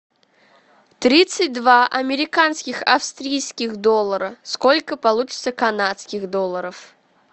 тридцать два американских австрийских доллара сколько получится канадских долларов